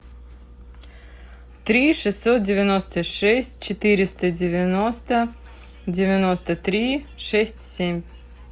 три шестьсот девяносто шесть четыреста девяносто девяносто три шесть семь